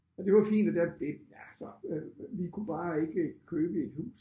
Og det var fint og der det ja så øh vi kunne bare ikke købe et hus